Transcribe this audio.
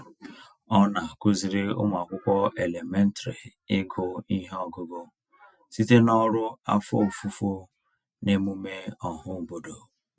Ọ na-akụziri ụmụakwụkwọ elementrị ịgụ ihe ọgụgụ site n'ọrụ afọ ofufo n'emume ọhaobodo.